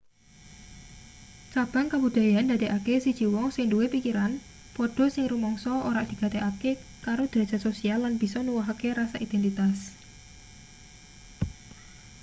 cabang kabudayan ndadekake siji wong sing duwe pikiran padha sing rumangsa ora digatekake karo drajat sosial lan bisa nuwuhake rasa identitas